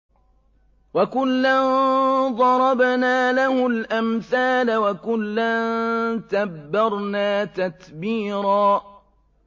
وَكُلًّا ضَرَبْنَا لَهُ الْأَمْثَالَ ۖ وَكُلًّا تَبَّرْنَا تَتْبِيرًا